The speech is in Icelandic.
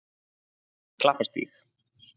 Klapparstíg